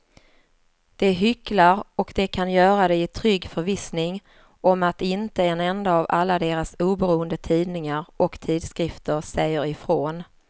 De hycklar och de kan göra det i trygg förvissning om att inte en enda av alla deras oberoende tidningar och tidskrifter säger ifrån.